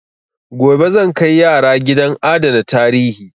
Gobe zan kai yara gidan adana tarihi.